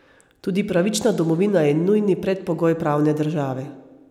Tudi pravična domovina je nujni predpogoj pravne države.